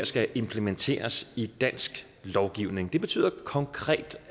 skal implementeres i dansk lovgivning det betyder konkret